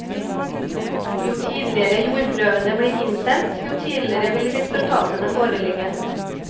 Jo tidligere jordprøvene bli innsendt, jo tidligere vil resultatene foreligge.